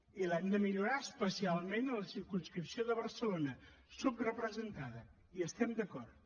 i l’hem de millorar especialment a la circumscripció de barcelona subrepresentada hi estem d’acord